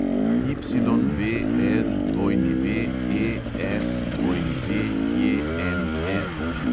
YBLWESWJNR